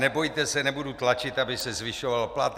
Nebojte se, nebudu tlačit, aby se zvyšoval plat.